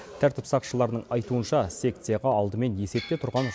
тәртіп сақшыларының айтуынша секцияға алдымен есепте тұрған